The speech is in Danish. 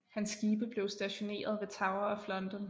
Hans skibe blev stationeret ved Tower of London